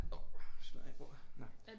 Ov smadrede jeg bordet? Nåh